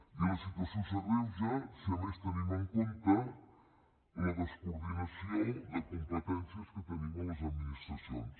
i la situació s’agreuja si a més tenim en compte la descoordinació de competències que tenim a les administracions